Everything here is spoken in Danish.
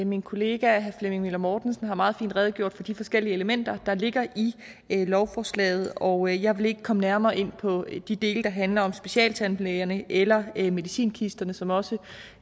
min kollega herre flemming møller mortensen har meget fint redegjort for de forskellige elementer der ligger i lovforslaget og jeg vil ikke komme nærmere ind på de dele der handler om specialtandlægerne eller medicinkisterne som også